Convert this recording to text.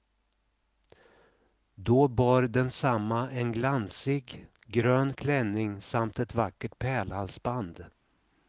Då bar densamma en glansig, grön klänning samt ett vackert pärlhalsband.